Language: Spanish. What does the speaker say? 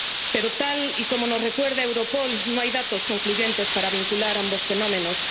Pero, tal y como nos recuerda Europol, no hay datos concluyentes para vincular ambos fenómenos.